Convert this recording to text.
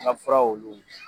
An ka fura olu